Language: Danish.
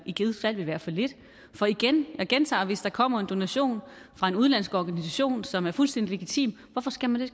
i givet fald ville være for lidt for jeg gentager at hvis der kommer en donation fra en udenlandsk organisation som er fuldstændig legitim hvorfor skal den